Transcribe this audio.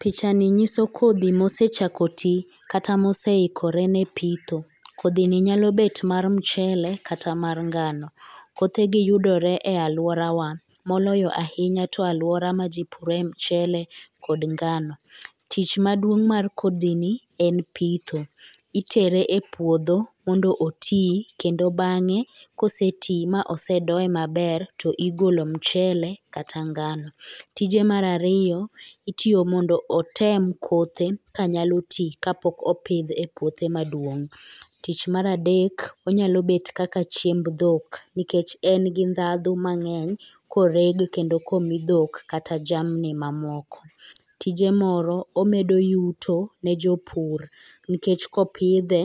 Picha ni nyiso kodhi mosechako tii kata moseikore ne pitho kodhi ni nyalo bet mar mchele kata mar ngano . Kothe be yudore aluorawa moloyo ahinya to aluora ma jii pidhe mchele kod ngano. Tich maduong' mar kodhi ni en pitho, itere e puodho mondo oti kendo bange koseti mosedoye maber tigolo mchele kata ngano. Tije mar ariyo en mondo otem kothe kanyalo tii kapok opidh e puothe maduong' .Tich mar adek onya bet kaka chiemb dhok nikech en gi ndhadhu mangeny koreg kendo komi dhok kata jamni mamoko. Tije moro omedo yuto ne jopur nikech kopidhe